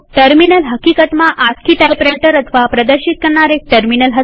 terminal હકીકતમાં ASCII typewriter અથવા પ્રદર્શિત એટલેકે ડિસ્પ્લે કરનાર એક ટર્મિનલ હતું